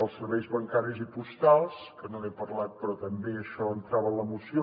els serveis bancaris i postals que no n’he parlat però també això entrava en la moció